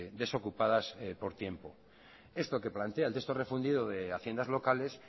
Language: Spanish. desocupadas por tiempo esto que plantea el texto refundido de haciendas locales